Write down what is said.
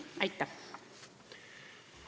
Aitäh!